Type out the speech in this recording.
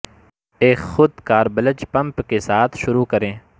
ایک خود کار بلج پمپ کے ساتھ شروع کریں